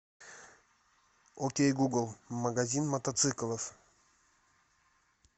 окей гугл магазин мотоциклов